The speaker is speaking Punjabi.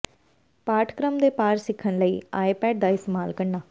ਪਾਠਕ੍ਰਮ ਦੇ ਪਾਰ ਸਿੱਖਣ ਲਈ ਆਈਪੈਡ ਦਾ ਇਸਤੇਮਾਲ ਕਰਨਾ